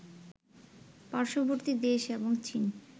পার্শ্ববর্তী দেশ এবং চীন